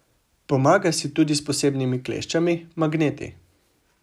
Pomaga si tudi s posebnimi kleščami, magneti.